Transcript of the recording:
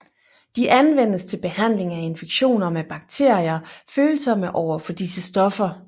De anvendes til behandling af infektioner med bakterier følsomme overfor disse stoffer